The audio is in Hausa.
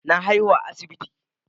Na haihu a asibiti.